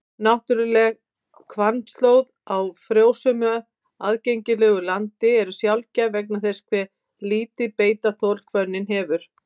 Náttúruleg hvannstóð á frjósömu, aðgengilegu landi eru sjaldgæf vegna þess hve lítið beitarþol hvönnin hefur.